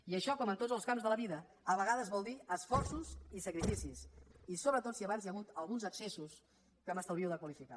i això com en tots els camps de la vida a vegades vol dir esforços i sacrificis i sobretot si abans hi ha hagut alguns excessos que m’estalvio de qualificar